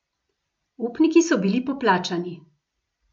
Upniki so bili poplačani.